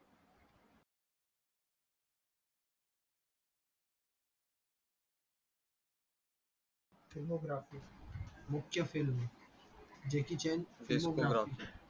demographice मुख्य jackie chan